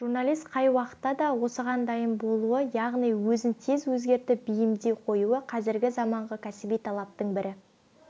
журналист қай уақытта да осыған дайын болуы яғни өзін тез өзгертіп бейімдей қоюы қазіргі заманғы кәсіби талаптың бірі